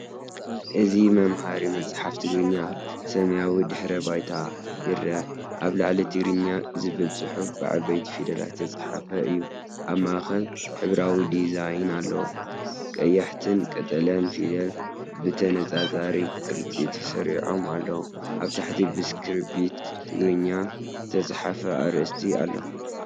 እዚ መምሃሪ መጽሓፍ ትግርኛ ኣብ ሰማያዊ ድሕረ ባይታ ይርአ። ኣብ ላዕሊ"ትግርኛ” ዝብል ጽሑፍ ብዓበይቲ ፊደላት ዝተጻሕፈ እዩ። ኣብ ማእከል ሕብራዊ ዲዛይን ኣሎ፣ ቀያሕትን ቀጠልያን ፊደላት ብተነጻጻሪ ቅርጺ ተሰሪዖም ኣለዉ። ኣብ ታሕቲ ብስክሪፕት ትግርኛ ዝተጻሕፈ ኣርእስቲ ኣሎ።